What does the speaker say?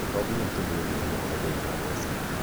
tonginya tũnyue njohi okorwo ndũrĩ na mbeca